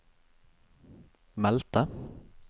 meldte